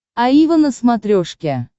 аива на смотрешке